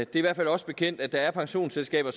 i hvert fald os bekendt at der er pensionsselskaber